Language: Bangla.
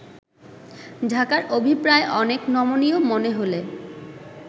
ঢাকার অভিপ্রায় অনেক নমনীয় মনে হলে